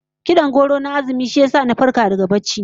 Kid'an gwauro na azumi shi ya farkar da ni daga barci